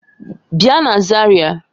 Bia na Zaria!